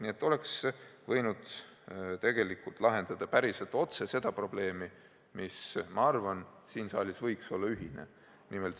Nii et tegelikult oleks võinud lahendada seda probleemi päris otse ja minu arvates see võiks olla siin saalis ühine eesmärk.